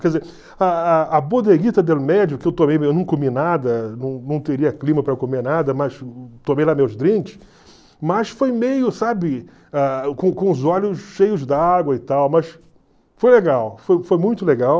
Quer dizer, a a a Bodeguita del Medio, que eu tomei, eu não comi nada, não não teria clima para comer nada, mas tomei lá meus drinks, mas foi meio, sabe, ah com com os olhos cheios d'água e tal, mas foi legal, foi foi muito legal.